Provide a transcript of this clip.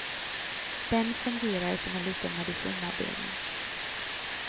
Den fungerar som en liten medicinavdelning.